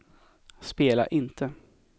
spela inte